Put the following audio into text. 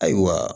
Ayiwa